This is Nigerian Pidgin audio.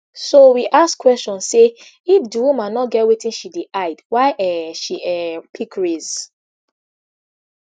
so we ask question say if di woman no get wetin she dey hide why um she um pick race